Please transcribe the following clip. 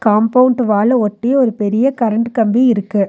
Compound வாள ஒட்டி ஒரு பெரிய கரண்ட் கம்பி இருக்கு.